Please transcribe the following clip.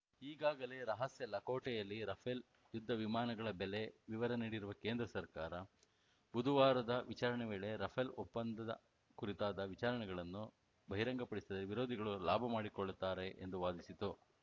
ಈಗಾಗಲೇ ರಹಸ್ಯ ಲಕೋಟೆಯಲ್ಲಿ ರಫೇಲ್‌ ಯುದ್ಧ ವಿಮಾನಗಳ ಬೆಲೆ ವಿವರ ನೀಡಿರುವ ಕೇಂದ್ರ ಸರ್ಕಾರ ಬುದುವಾರದ ವಿಚಾರಣೆ ವೇಳೆ ರಫೇಲ್‌ ಒಪ್ಪಂದ ಕುರಿತಾದ ವಿಚಾರಗಳನ್ನು ಬಹಿರಂಗಪಡಿಸಿದರೆ ವಿರೋಧಿಗಳು ಲಾಭ ಮಾಡಿಕೊಳ್ಳುತ್ತಾರೆ ಎಂದು ವಾದಿಸಿತು